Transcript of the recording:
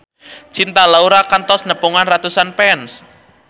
Cinta Laura kantos nepungan ratusan fans